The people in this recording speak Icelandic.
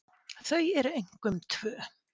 Þau eru einkum tvö.